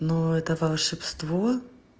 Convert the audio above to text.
но это волшебство